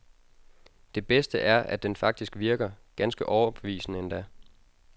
Det bedste er, at den faktisk virker, ganske overbevisende endda.